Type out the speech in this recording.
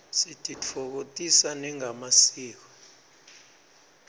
sititfokotisa nangemasiko